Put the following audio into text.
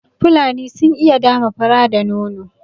Fulani sun iya dama fura da nono